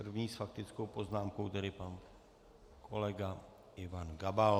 První s faktickou poznámkou tedy pan kolega Ivan Gabal.